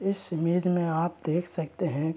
इस इमेज में आप देख सकते हैं।